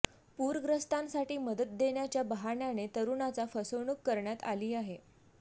पूरग्रस्तांसाठी मदत देण्याच्या बहाण्याने तरुणाचा फसवणूक करण्यात आली आहे